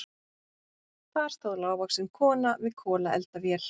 Þar stóð lágvaxin kona við kolaeldavél.